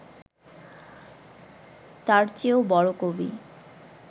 তার চেয়েও বড় কবি